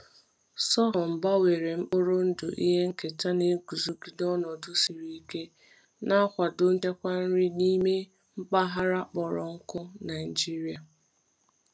Sorghum gbanwere mkpụrụ ndụ ihe nketa na-eguzogide ọnọdụ siri ike, na-akwado nchekwa nri n’ime mpaghara kpọrọ nkụ Nigeria.